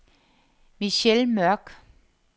Michelle Mørk